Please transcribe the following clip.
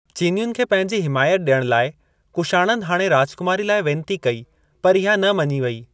चीनियुन खे पंहिंजी हिमायत ॾियण लाइ कुशाणनि हाणे राजकुमारी लाइ वेनती कई पर इहा न मञी वई।